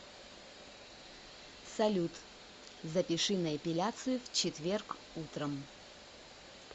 салют запиши на эпиляцию в четверг утром